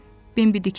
Bimbi diksindi.